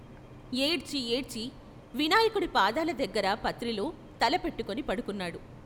ఏడ్చి ఏడ్చి వినాయకుడి పాదాల దగ్గర పత్రిలో తల పెట్టుకుని పడుకొన్నాడు.